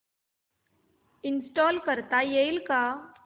install करता येईल का